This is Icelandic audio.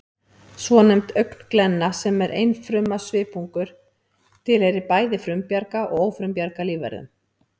Svonefnd augnglenna, sem er einfruma svipungur, tilheyrir bæði frumbjarga og ófrumbjarga lífverum